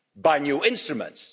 to do with new instruments.